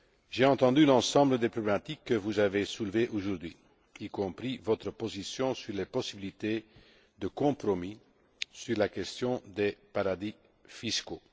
J'ai entendu l'ensemble des problématiques que vous avez soulevées aujourd'hui, y compris votre position sur les possibilités de compromis sur la question des paradis fiscaux.